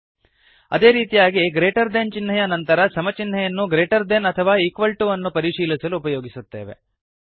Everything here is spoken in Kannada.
ಅದೇ ರೀತಿಯಾಗಿ ಗ್ರೇಟರ್ ದೆನ್ ಚಿಹ್ನೆಯ ನಂತರ ಸಮ ಚಿಹ್ನೆಯನ್ನು ಗ್ರೇಟರ್ ದೆನ್ ಅಥವಾ ಈಕ್ವಲ್ ಟು ವನ್ನು ಪರಿಶೀಲಿಸಲು ಉಪಯೋಗಿಸುತ್ತೇವೆ